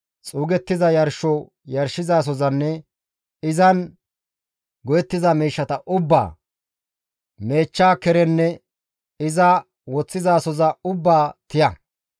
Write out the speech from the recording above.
xuugettiza yarsho yarshizasozanne izan go7ettiza miishshata ubbaa, meechcha kerenne iza woththizasoza ubbaa tiya.